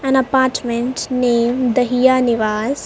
an apartment named the hiya nivas .